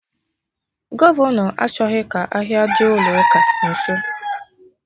Gọvọnọ achọghị ka ahịa dị ụlọ ụka nso